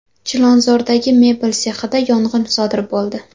Chilonzordagi mebel sexida yong‘in sodir bo‘ldi.